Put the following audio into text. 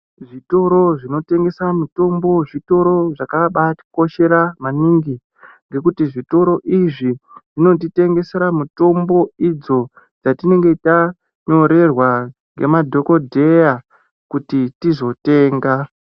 Zvitoro zvinotengesa mitombo zvitoro zvitoro zvakabatikoshera maningi ngekuti zvitoro izvi zvinotitengesera mitombo idzo dzatinenge tanyorera nemadhokhodheya kuti tizotenga.